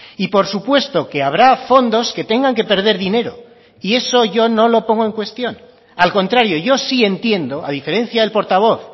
y por supuesto que habrá fondos que tengan que perder dinero y eso yo no lo pongo en cuestión al contrario yo sí entiendo a diferencia del portavoz